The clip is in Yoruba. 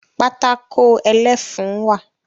Pátákó ẹlẹ́fun wà